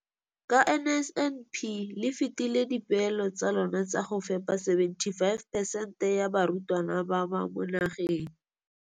Ka NSNP le fetile dipeelo tsa lona tsa go fepa masome a supa le botlhano a diperesente ya barutwana ba mo nageng.